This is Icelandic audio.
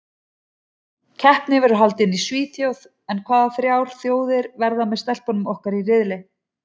Keppnin verður haldin í Svíþjóð en hvaða þrjár þjóðir verða með stelpunum okkar í riðli?